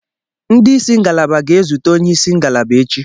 Ndị isi ngalaba ga-ezute onye isi ngalaba echi.